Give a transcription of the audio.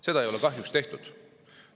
Kahjuks ei ole seda tehtud.